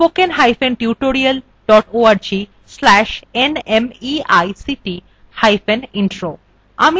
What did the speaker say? spoken hyphen tutorial dot org slash nmeict hyphen intro